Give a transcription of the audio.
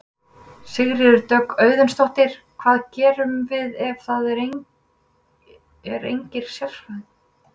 Sigríður Dögg Auðunsdóttir: Hvað gerum við ef það er engir sérfræðingar?